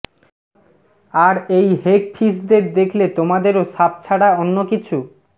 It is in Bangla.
আর এই হেগ ফিশদের দেখলে তোমাদেরও সাপ ছাড়া অন্য কিছু